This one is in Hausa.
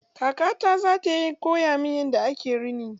Kaka ta zata koya min yadda ake rini.